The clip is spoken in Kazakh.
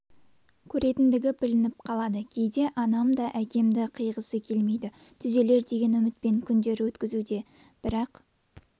көретіндігі білініп қалады кейде анам да әкемді қиғысы келмейді түзелер деген үмітпен күндер өткізуде бірақ